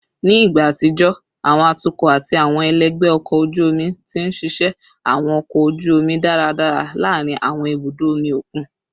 Ni igba atijọ, awọn atukọ ati awọn ẹlẹgbẹ ọkọ oju omi ti nṣiṣẹ awọn ọkọ oju omi daradara laarin awọn ibudo omi okun